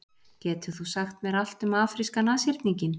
Getur þú sagt mér allt um afríska nashyrninginn?